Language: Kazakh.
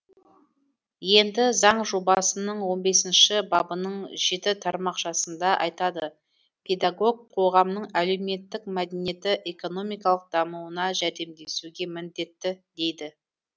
енді заң жобасының он бесінші бабының жеті тармақшасында айтады педагог қоғамның әлеуметтік мәдени экономикалық дамуына жәрдемдесуге міндетті дейді